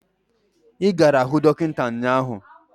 Ị gara hụ dọkịta ụnyaahụ?